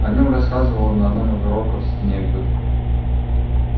о нем рассказывал на одном из уроков снегг